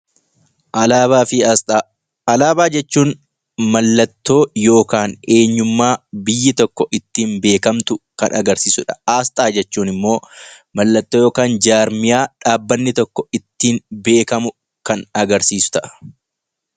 Alaabaa fi Asxaa Alaabaa jechuun mallattoo yookaan eenyummaa biyyi tokko ittiin beekamtu kan agarsiisu dha. Asxaa jechuun immoo mallattoo yookaan jaarmiyaa dhaabbanni tokko ittiin beekamu kan agarsiisu ta'a.